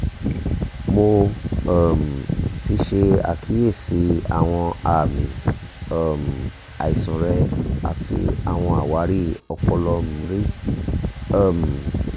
mo um ti ṣe akiyesi awọn aami um aisan rẹ ati awọn awari ọpọlọ mri um